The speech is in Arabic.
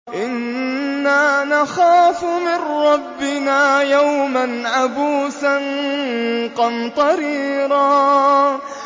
إِنَّا نَخَافُ مِن رَّبِّنَا يَوْمًا عَبُوسًا قَمْطَرِيرًا